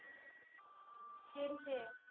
दिडशे